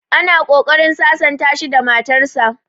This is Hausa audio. Ana ƙoƙarin sasanta shi da matar sa